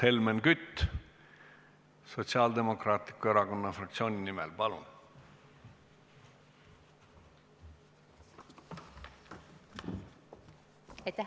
Helmen Kütt Sotsiaaldemokraatliku Erakonna fraktsiooni nimel, palun!